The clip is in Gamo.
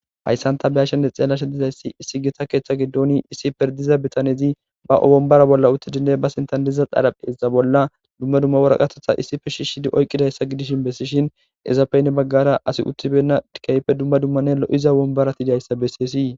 Hayssanta beyashshenne xeellashe dizayssi issi gita keeththa giddoni issi perdiza bitanezi ba owombara bolla uttidinne ba sintandiza dharapheza bolla dumma dumma waraqatetha issife shishshidi oyqqidayssa gidishin bessishin ezapeyne baggara asi uttibenna dikaype dumma dummane lo'iza wombaratidayssa bessiyesii.